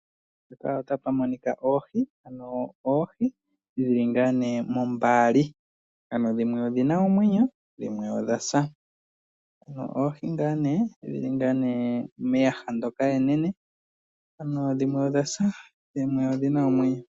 Mpaka otapa monika oohi, ano oohi dhili ngaa nee mombaali . Ano dhimwe odhina omwenyo, dhimwe odha sa . Oohi ngaa nee dhili meyaha enene.